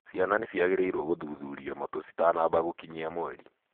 Ciana nĩ ciagĩrĩiro gũthuthurio matũ citanamba gũkinyia mweri.